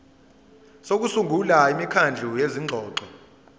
sokusungula imikhandlu yezingxoxo